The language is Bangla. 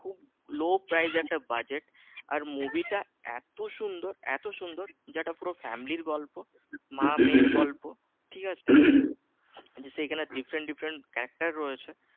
Low price একটা budget আর movie টা এত সুন্দর এত সুন্দর যেটা পুরো family ইর গল্প মা মেয়ের গল্প ঠিক আছে সেখানে different different actor রয়েছে